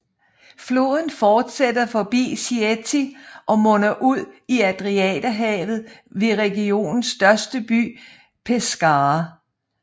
Floden fortsætter forbi Chieti og munder ud i Adriaterhavet ved regionens største by Pescara